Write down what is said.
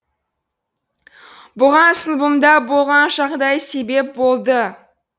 бұған сыныбымда болған жағдай себеп болды